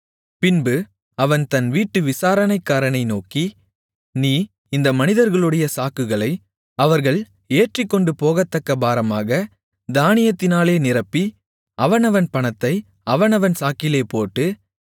பின்பு அவன் தன் வீட்டு விசாரணைக்காரனை நோக்கி நீ இந்த மனிதர்களுடைய சாக்குகளை அவர்கள் ஏற்றிக்கொண்டுபோகத்தக்க பாரமாகத் தானியத்தினாலே நிரப்பி அவனவன் பணத்தை அவனவன் சாக்கிலே போட்டு